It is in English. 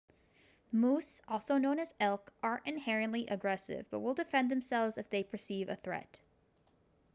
moose also known as elk aren't inherently aggressive but will defend themselves if they perceive a threat